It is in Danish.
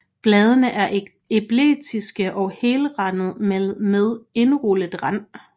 Bladene er elliptiske og helrandede med indrullet rand